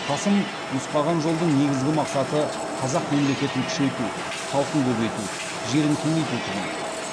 қасым нұсқаған жолдың негізгі мақсаты қазақ мемлекетін күшейту халқын көбейту жерін кеңейту тұғын